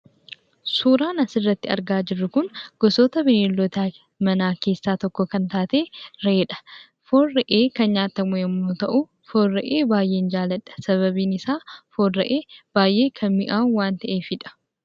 Suuraan asirratti argaa jirru kun gosoota bineeldota manaa keessaa tokko kan taate re'eedha. Foon re'ee kan nyaatamu yommuu ta'u, foon re'ee baay'een jaalladha. Sababiin isaa foon re'ee baay'ee kan mi'aawu waan ta'eefidha.